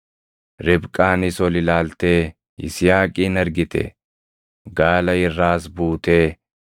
Ribqaanis ol ilaaltee Yisihaaqin argite; gaala irraas buutee